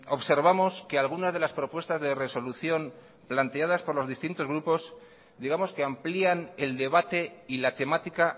observamos que algunas de las propuestas de resolución planteadas por los distintos grupos digamos que amplían el debate y la temática